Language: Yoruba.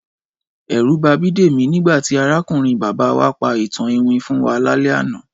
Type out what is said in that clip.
Ẹ̀rù ba Bídèmí nígbà tí arákùnrin bàbá wá pa ìtàn iwin fún wa lálẹ́ àná